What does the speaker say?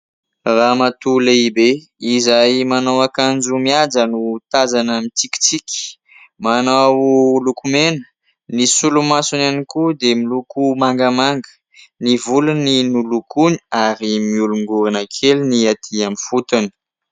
Ramatoa lehibe izay manao akanjo mihaja no tazana mitsikitsiky. Manao lokomena, ny solomasony ihany koa dia miloko mangamanga, ny volony nolokoiny ary mihorongorona kely ny atỳ amin'ny fotony.